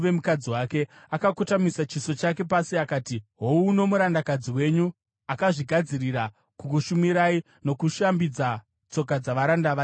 Akakotamisa chiso chake pasi akati, “Houno murandakadzi wenyu, akazvigadzirira kukushumirai nokushambidza tsoka dzavaranda vatenzi wangu.”